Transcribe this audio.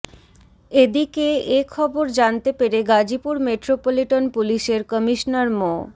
এদিকে এ খবর জানতে পেরে গাজীপুর মেট্রোপলিটন পুলিশের কমিশনার মো